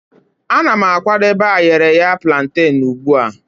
Ana m akwadebe ayereya plantane ugbu a.